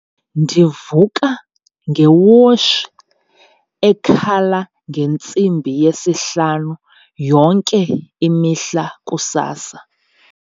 Ndivuka ngewotshi ekhala ngentsimbi yesihlanu yonke imihla kusasa.